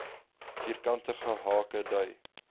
vierkantige hake dui